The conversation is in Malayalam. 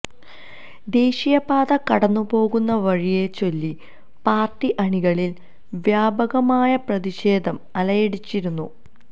ദേശീയ പാത കടന്നു പോകുന്ന വഴിയെച്ചൊല്ലി പാർട്ടി അണികളിൽ വ്യാപകമായ പ്രതിഷേധം അലയടിച്ചിരുന്നു